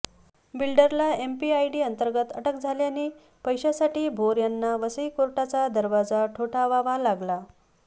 बिल्डरला MPID अंतर्गत अटक झाल्याने पैशासाठी भोर यांना वसई कोर्टाचा दरवाजा ठोठावावा लागला